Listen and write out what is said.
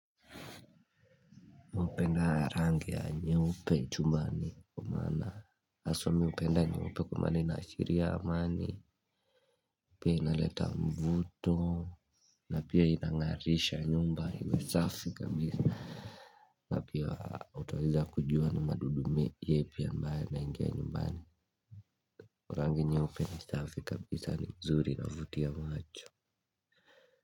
Upenda rangi ya nyeupe jumbani kwamana. Aswami upenda nyeupe kumana inashiri ya amani. Pia inaleta mvuto. Na pia inangarisha nyumba hiwe safi kabisa. Apia utaweza kujua ni madudumi yepi ya ambae naingia nyumbani. Urangi nyeupe ni safi kabisa ni mzuri inavuti ya macho.